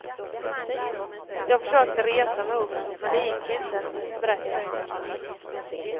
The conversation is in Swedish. Jag försökte resa mig upp men det gick inte, berättar han.